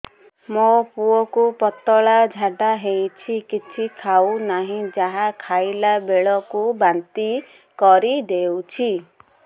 ମୋ ପୁଅ କୁ ପତଳା ଝାଡ଼ା ହେଉଛି କିଛି ଖାଉ ନାହିଁ ଯାହା ଖାଇଲାବେଳକୁ ବାନ୍ତି କରି ଦେଉଛି